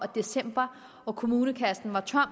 december og kommunekassen var tom